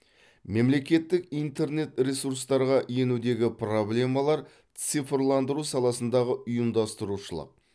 мемлекеттік интернет ресурстарға енудегі проблемалар цифрландыру саласындағы ұйымдастырушылық